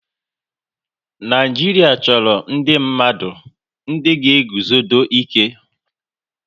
Naijiria chọrọ ndị mmadụ ndị ga eguzodo ike